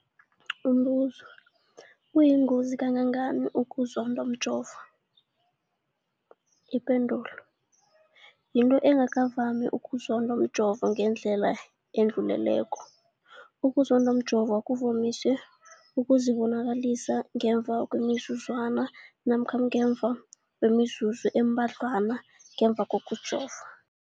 Umbuzo, kuyingozi kangangani ukuzondwa mjovo? Ipendulo, yinto engakavami ukuzondwa mjovo ngendlela edluleleko. Ukuzondwa mjovo kuvamise ukuzibonakalisa ngemva kwemizuzwana namkha ngemva kwemizuzu embadlwana ngemva kokujova.